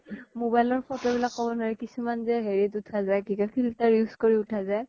Mobile ৰ photo বিলাক কব নোৱাৰি কিছুমান যে হেৰিত উঠা যায় কি কয় filter use কৰি উঠা যায়